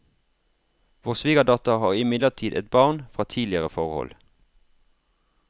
Vår svigerdatter har imidlertid et barn fra tidligere forhold.